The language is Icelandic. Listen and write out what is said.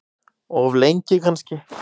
Of lengi kannski.